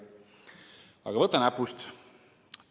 Aga võta näpust!